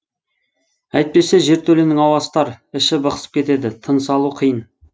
әйтпесе жертөленің ауасы тар іші бықсып кетеді тыныс алу қиын